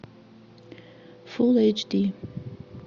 фулл эйч ди